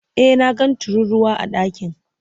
E, na ga tururuwa a ɗakin.